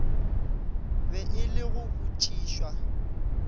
be e le go botšišwa